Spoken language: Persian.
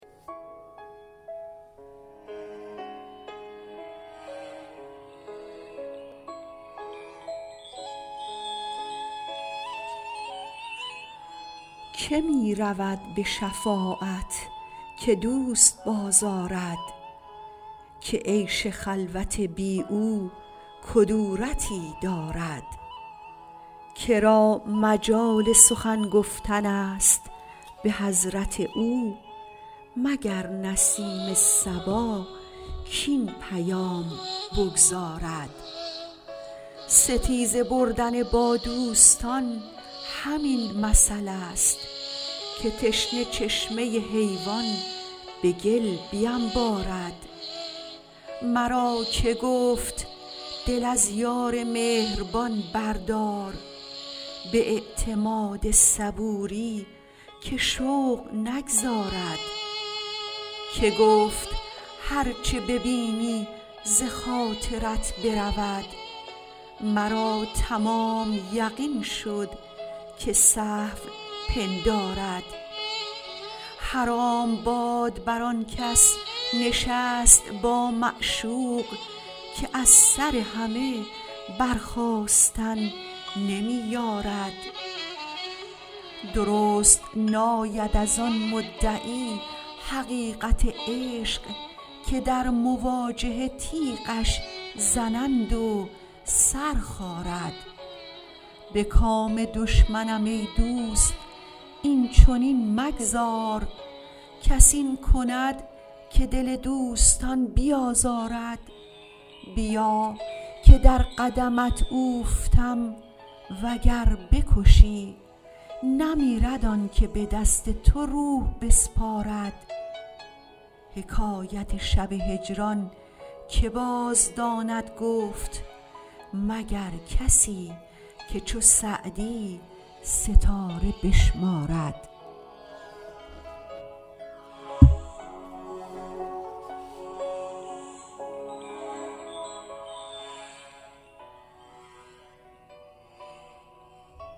که می رود به شفاعت که دوست بازآرد که عیش خلوت بی او کدورتی دارد که را مجال سخن گفتن است به حضرت او مگر نسیم صبا کاین پیام بگزارد ستیزه بردن با دوستان همین مثلست که تشنه چشمه حیوان به گل بینبارد مرا که گفت دل از یار مهربان بردار به اعتماد صبوری که شوق نگذارد که گفت هر چه ببینی ز خاطرت برود مرا تمام یقین شد که سهو پندارد حرام باد بر آن کس نشست با معشوق که از سر همه برخاستن نمی یارد درست ناید از آن مدعی حقیقت عشق که در مواجهه تیغش زنند و سر خارد به کام دشمنم ای دوست این چنین مگذار کس این کند که دل دوستان بیازارد بیا که در قدمت اوفتم و گر بکشی نمیرد آن که به دست تو روح بسپارد حکایت شب هجران که بازداند گفت مگر کسی که چو سعدی ستاره بشمارد